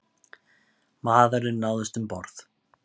Maðurinn náðist um borð